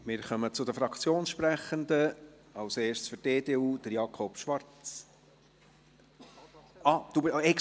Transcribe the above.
Wir kommen zu den Fraktionssprechenden, zuerst zu Jakob Schwarz für die EDU.